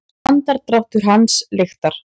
Andardráttur hans lyktar.